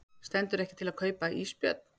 Stendur ekki til að kaupa ísbjörn